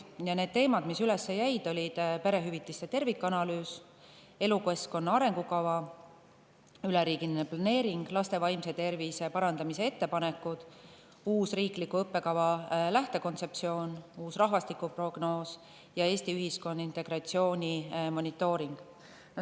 Teemad, mis üles jäid, olid perehüvitiste tervikanalüüs, elukeskkonna arengukava, üleriigiline planeering, laste vaimse tervise parandamise ettepanekud, uus riikliku õppekava lähtekontseptsioon, uus rahvastikuprognoos ja Eesti ühiskonna integratsiooni monitooring.